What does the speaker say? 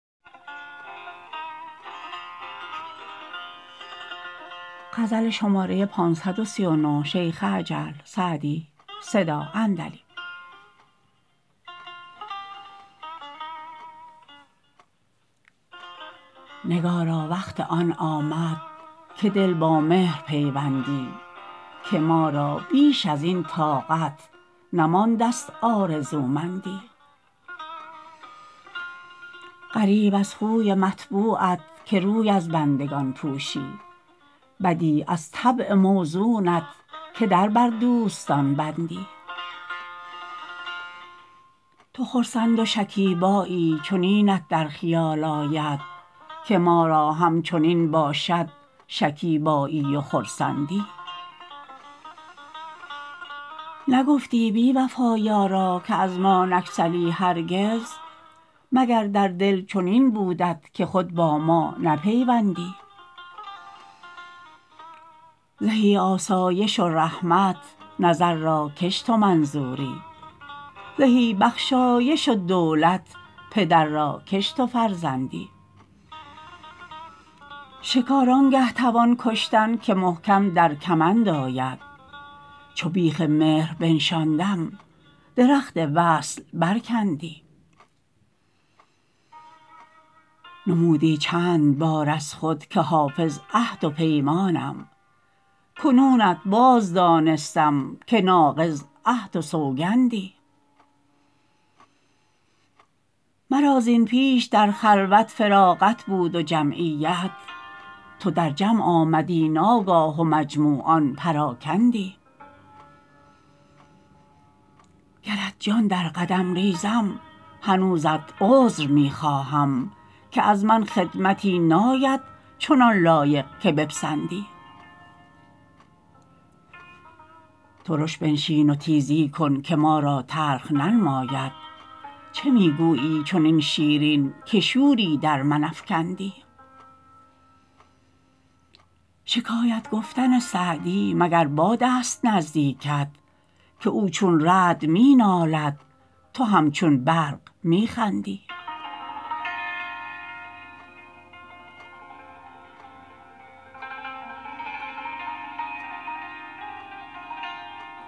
نگارا وقت آن آمد که دل با مهر پیوندی که ما را بیش از این طاقت نمانده ست آرزومندی غریب از خوی مطبوعت که روی از بندگان پوشی بدیع از طبع موزونت که در بر دوستان بندی تو خرسند و شکیبایی چنینت در خیال آید که ما را همچنین باشد شکیبایی و خرسندی نگفتی بی وفا یارا که از ما نگسلی هرگز مگر در دل چنین بودت که خود با ما نپیوندی زهی آسایش و رحمت نظر را کش تو منظوری زهی بخشایش و دولت پدر را کش تو فرزندی شکار آن گه توان کشتن که محکم در کمند آید چو بیخ مهر بنشاندم درخت وصل برکندی نمودی چند بار از خود که حافظ عهد و پیمانم کنونت باز دانستم که ناقض عهد و سوگندی مرا زین پیش در خلوت فراغت بود و جمعیت تو در جمع آمدی ناگاه و مجموعان پراکندی گرت جان در قدم ریزم هنوزت عذر می خواهم که از من خدمتی ناید چنان لایق که بپسندی ترش بنشین و تیزی کن که ما را تلخ ننماید چه می گویی چنین شیرین که شوری در من افکندی شکایت گفتن سعدی مگر باد است نزدیکت که او چون رعد می نالد تو همچون برق می خندی